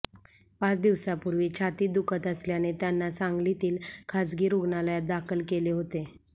पाच दिवसांपूर्वी छातीत दुखत असल्याने त्यांना सांगलीतील खासगी रूग्णालयात दाखल केले होते